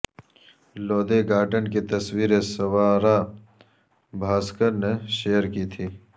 Lodhi garden کی تصویریں سوارا بھاسکر نے شیئر کی تھی